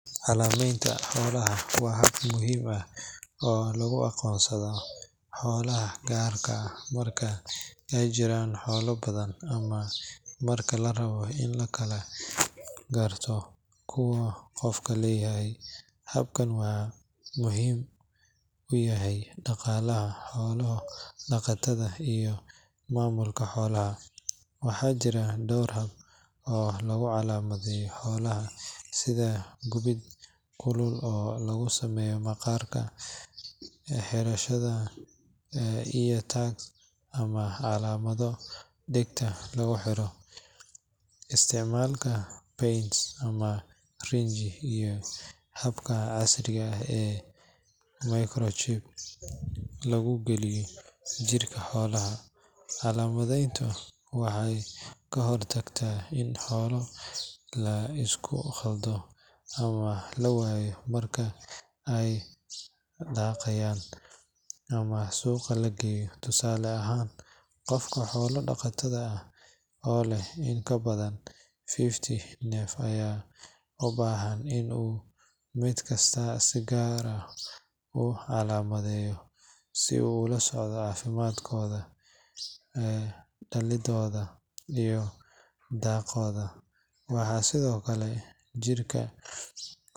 Calaamadeynta xoolaha waa hab muhiim ah oo lagu aqoonsado xoolaha gaar ahaan marka ay jiraan xoolo badan ama marka la rabo in la kala garto kuwa qof leeyahay. Habkan waxa uu muhiim u yahay dhaqaalaha xoolo-dhaqatada iyo maamulka xoolaha. Waxaa jira dhowr hab oo lagu calaamadeeyo xoolaha sida gubid kulul oo lagu sameeyo maqaarka, xirashada ear tags ama calaamado dhegta lagu xiro, isticmaalka paint ama rinji, iyo habka casriga ah ee microchip lagu geliyo jirka xoolaha. Calaamadayntu waxay ka hortagtaa in xoolo la isku khaldo ama la waayo marka ay daaqayaan ama suuqa la geeyo. Tusaale ahaan, qof xoolo dhaqato ah oo leh in ka badan fifty neef ayaa u baahan in uu mid kasta si gaar ah u calaamadeeyo si uu ula socdo caafimaadkooda, dhaliddooda iyo dhaqdhaqaaqooda. Waxaa sidoo kale jirka.